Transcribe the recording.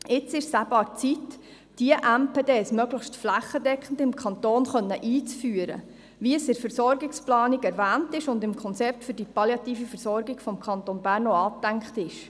Jetzt ist es an der Zeit, diese MPD möglichst flächendeckend im Kanton einführen zu können, wie es in der Versorgungsplanung erwähnt und im Konzept für die palliative Versorgung des Kantons Bern auch angedacht ist.